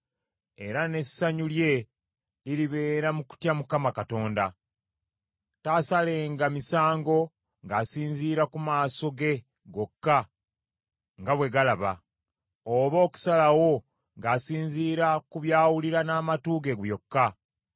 Era n’essanyu lye liribeera mu kutya Mukama Katonda. Taasalenga misango ng’asinziira ku maaso ge gokka nga bwe galaba, oba okusalawo ng’asinziira ku byawulira n’amatu ge byokka,